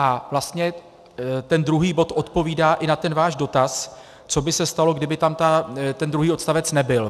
A vlastně ten druhý bod odpovídá i na ten váš dotaz, co by se stalo, kdyby tam ten druhý odstavec nebyl.